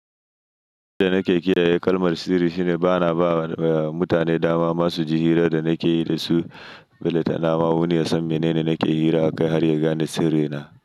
Yadda nake kiyaye kalmar sirri shine bana ba wa mutane dama masu ji hirar da nake yi da su. Belle tana ma wani ya san menene nake hira akai har ya gane sirri na.